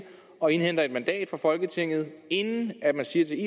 og indhenter et mandat fra folketinget inden man siger til